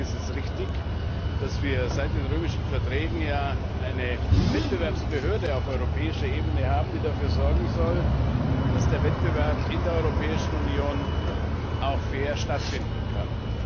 Deswegen ist es richtig, dass wir seit den Römischen Verträgen eine Wettbewerbsbehörde auf europäischer Ebene haben, die dafür sorgen soll, dass der Wettbewerb in der Europäischen Union auch fair stattfinden kann.